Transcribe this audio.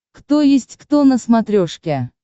кто есть кто на смотрешке